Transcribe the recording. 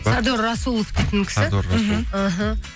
сардор расулов дейтін кісі іхі